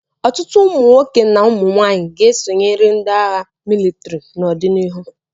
Ọtụtụ ụmụ nwoke na ụmụ nwaanyị ga-esonyere ndị agha mịlịtrị n'ọdịnihu.